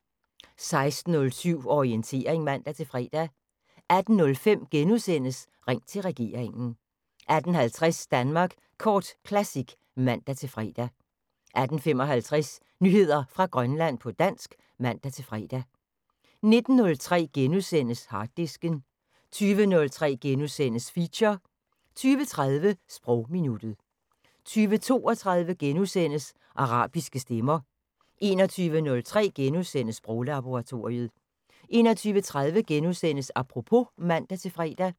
16:07: Orientering (man-fre) 18:05: Ring til regeringen * 18:50: Danmark Kort Classic (man-fre) 18:55: Nyheder fra Grønland på dansk (man-fre) 19:03: Harddisken * 20:03: Feature * 20:30: Sprogminuttet 20:32: Arabiske stemmer * 21:03: Sproglaboratoriet * 21:30: Apropos *(man-fre)